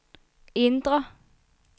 indre